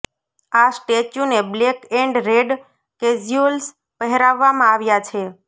આ સ્ટૅચ્યુને black and red casuals પહેરાવવામાં આવ્યાં છે